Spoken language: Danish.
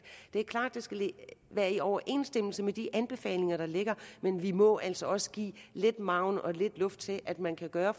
det er klart at det skal være i overensstemmelse med de anbefalinger der ligger men vi må altså også give lidt margen og lidt luft til at man kan gøre